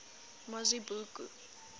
mazibuko